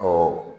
Ɔ